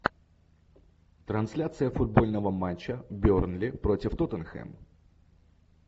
трансляция футбольного матча бернли против тоттенхэм